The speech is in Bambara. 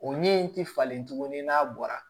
O ɲɛ in ti falen tugun ni n'a bɔra